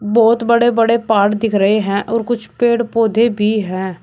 बहुत बड़े बड़े पहाड़ दिख रहे हैं और कुछ पेड़ पौधे भी हैं।